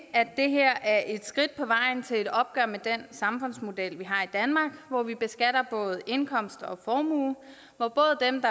at det her er et skridt på vejen til et opgør med den samfundsmodel vi har i danmark hvor vi beskatter både indkomst og formue hvor både dem